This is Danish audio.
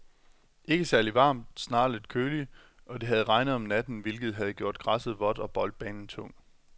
Ikke særligt varmt, snarere lidt køligt, og det havde regnet om natten, hvilket havde gjort græsset vådt og boldbanen tung.